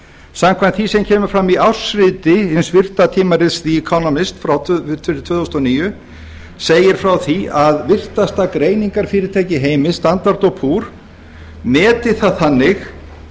samkvæmt því sem kemur fram í ársriti hins virta tímarits economist fyrir tvö þúsund og níu segir frá því að virtasta greiningarfyrirtæki í heimi standard og poor meti það þannig